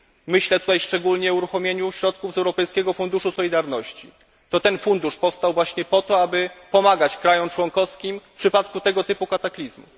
Myślę tutaj szczególnie o uruchomieniu środków z Europejskiego Funduszu Solidarności, który powstał właśnie po to, aby pomagać krajom członkowskim w przypadku tego typu kataklizmu.